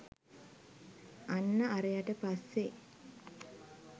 අන්න අරයට පස්සෙ